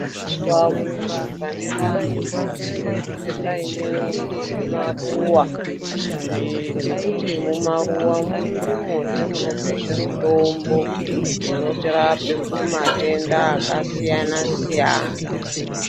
Pamuzi pane vanhu panosise kunge paine zvimaruwa, ngekuti mumaruwamwo ndimwozve munobvezve mutombo inotirape kubva kumatenda akasiyanasiyana.